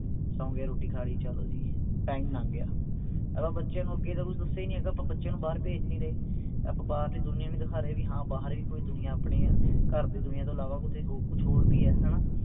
ਸੋਂਗੇ ਰੋਟੀ ਖਾ ਲਈ ਚਲੋ ਜੀ time ਲੰਘ ਗਿਆ ਆਪਾਂ ਬੱਚੇ ਨੂੰ ਅੱਗੇ ਤਾਂ ਕੁਛ ਦੱਸੀਆਂ ਹੀ ਨਹੀਂ ਹੈਗਾ ਆਪਾਂ ਬੱਚਿਆਂ ਨੂੰ ਬਾਹਰ ਭੇਜ ਨਹੀਂ ਰਹੇ ਆਪਾਂ ਬਾਹਰਲੀ ਦੁਨੀਆਂ ਨਹੀਂ ਦਿਖਾ ਰਹੇ ਵੀ ਹਾਂ ਬਾਹਰ ਵੀ ਕੋਈ ਦੁਨੀਆਂ ਆਪਣੇ ਹੈ ਘਰ ਦੀ ਦੁਨੀਆਂ ਤੋਂ ਅਲਾਵਾ ਕੀਤੇ ਕੁਛ ਹੋਰ ਵੀ ਹੈ ਹਣਾ